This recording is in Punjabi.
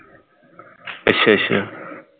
ਅੱਛਾ ਅੱਛਾ